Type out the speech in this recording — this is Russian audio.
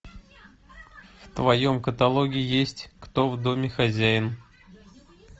в твоем каталоге есть кто в доме хозяин